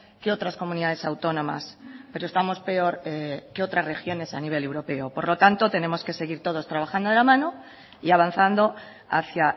que otras comunidades autónomas pero estamos peor que otras regiones a nivel europeo por lo tanto tenemos que seguir todos trabajando de la mano y avanzando hacia